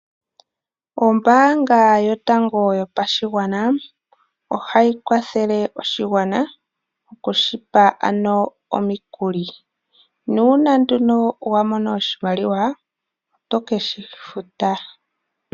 Ombaanga yotango yopashigwana ohayi kwathele oshigwana okushipa ano omikuli, nuuna nduno wamono oshimaliwa oto keshifuta.